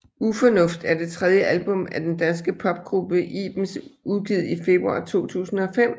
Ufornuft er det tredje album af den danske popgruppe Ibens udgivet i februar 2005